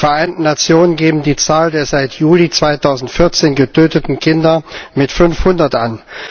Die Vereinten Nationen geben die Zahl der seit Juli 2014 getöteten Kinder mit 500 an.